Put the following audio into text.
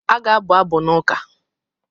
A ga-abụ abụ n’ụka.